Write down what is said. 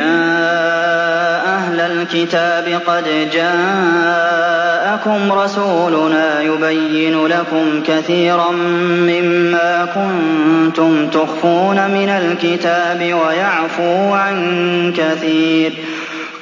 يَا أَهْلَ الْكِتَابِ قَدْ جَاءَكُمْ رَسُولُنَا يُبَيِّنُ لَكُمْ كَثِيرًا مِّمَّا كُنتُمْ تُخْفُونَ مِنَ الْكِتَابِ وَيَعْفُو عَن كَثِيرٍ ۚ